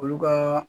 Olu ka